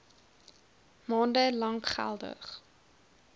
maande lank geldig